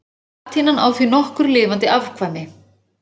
Latínan á því nokkur lifandi afkvæmi.